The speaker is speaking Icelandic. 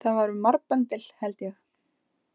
Það var um marbendil, held ég.